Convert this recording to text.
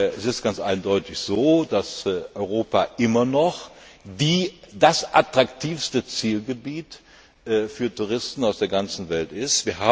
Es ist ganz eindeutig so, dass Europa immer noch das attraktivste Zielgebiet für Touristen aus der ganzen Welt ist.